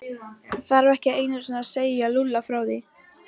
Hann þorði ekki einu sinni að segja Lúlla frá því.